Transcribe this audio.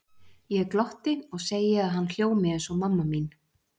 Ég glotti og segi að hann hljómi eins og mamma mín.